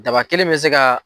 Daba kelen bɛ se ka.